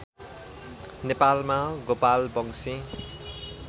नेपालमा गोपालवंशी